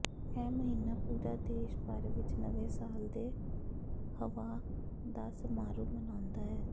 ਇਹ ਮਹੀਨਾ ਪੂਰਾ ਦੇਸ਼ ਭਰ ਵਿੱਚ ਨਵੇਂ ਸਾਲ ਦੇ ਹੱਵਾਹ ਦਾ ਸਮਾਰੋਹ ਮਨਾਉਂਦਾ ਹੈ